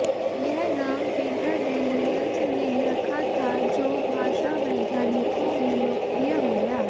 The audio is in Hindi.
यह नाम पीटर डैनियल्ज़ ने रखा था जो भाषावैज्ञानिकों में लोकप्रिय हो गया